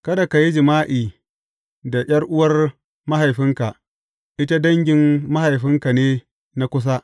Kada ka yi jima’i da ’yar’uwar mahaifinka, ita dangin mahaifinka ne na kusa.